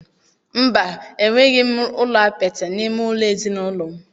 Mba, enweghị ụlọ apịtị n'ime ụlọ ezinụlọ m.